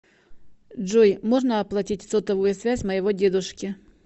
джой можно оплатить сотовую связь моего дедушки